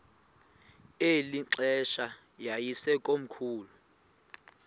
eli xesha yayisekomkhulu